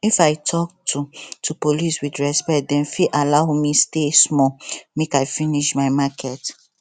if i talk to to police with respect dem fit allow me stay small make i finish my market